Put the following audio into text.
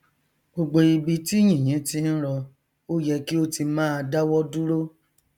gbogbo ibi tí yìnyín ti ń rọ ó yẹ kí ó ti máa dáwọ dúro